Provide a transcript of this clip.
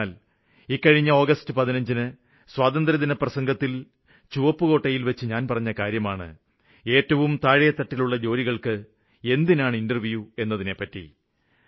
എന്തെന്നാല് ഇക്കഴിഞ്ഞ ആഗസ്റ്റ് 15ന് സ്വാതന്ത്ര്യദിന പ്രസംഗത്തില് ചുവപ്പു കോട്ടയില്വെച്ച് ഞാന് പറഞ്ഞ കാര്യമാണ് ഏറ്റവും താഴെത്തട്ടിലുള്ള ജോലികള്ക്കെന്തിനാണ് ഇന്റര്വ്യൂ എന്നതിനെപ്പറ്റി